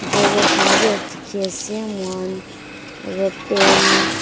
Drawer khan bhi as dekhi ase mokhan aro pen --